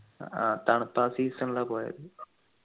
ആഹ് തണുപ്പ് ആ season ലാ പോയത്